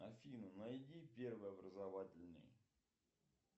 афина найди первый образовательный